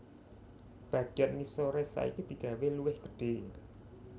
Bagéyan ngisoré saiki digawé luwih gedhé